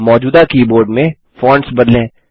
मौजूदा कीबोर्ड में फॉन्ट्स बदलें